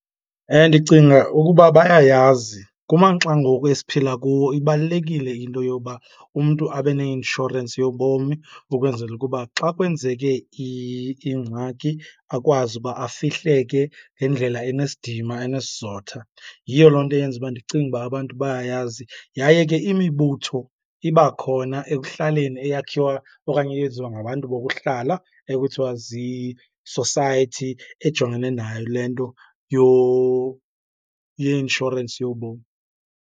Ndicinga ukuba bayayazi. Kumaxa ngoku esiphila kuwo ibalulekile into yoba umntu abe neinshorensi yobomi ukwenzela ukuba xa kwenzeke ingxaki akwazi uba afihleke ngendlela enesidima enesizotha. Yiyo loo nto eyenza uba ndicinge uba abantu bayayazi. Yaye ke imibutho iba khona ekuhlaleni eyakhiwa okanye eyenziwa ngabantu bokuhlala ekuthiwa zii-society ejongene nayo le nto yeinshorensi yobomi.